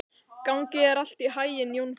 Gangi þér allt í haginn, Jónfríður.